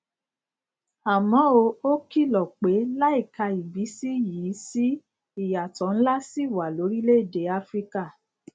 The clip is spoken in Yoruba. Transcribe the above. àmó ó kìlò pé láìka ìbísí yìí sí ìyàtò ńlá ṣì wà lórílèèdè áfíríkà